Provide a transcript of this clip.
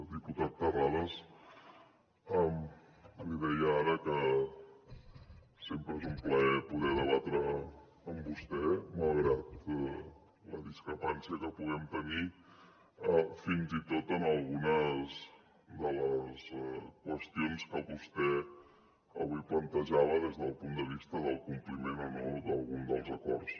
diputat terrades li deia ara que sempre és un plaer poder debatre amb vostè malgrat la discrepància que puguem tenir fins i tot en algunes de les qüestions que vostè avui plantejava des del punt de vista del compliment o no d’algun dels acords